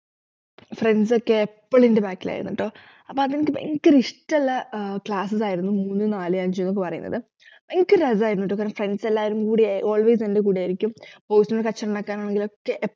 friends ഒക്കെ എപ്പോളും എന്റെ back ലായിരുന്നുട്ടോ അപ്പൊ അതനിക്ക് ഭയങ്കര ഇഷ്ടള്ള ഏർ classes ആയിരുന്നു മൂന്ന് നാല് അഞ്ചുന്നൊക്കെ പറയുന്നത് ഭയങ്കര രസായിരുന്നുട്ടോ friends എല്ലരും കൂടി always എന്റെ കൂടെയായിരിക്കും കച്ചറയുണ്ടാക്കാനാണെങ്കിലോക്കെ